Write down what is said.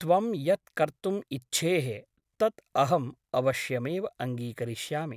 त्वं यत् कर्तुम् इच्छेः तत् अहम् अवश्यमेव अङ्गीकरिष्यामि ।